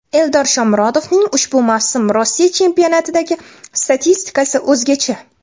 Eldor Shomurodovning ushbu mavsum Rossiya chempionatidagi statistikasi o‘zgacha.